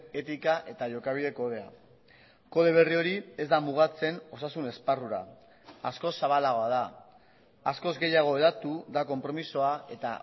etika eta jokabide kodea kode berri hori ez da mugatzen osasun esparrura askoz zabalagoa da askoz gehiago hedatu da konpromisoa eta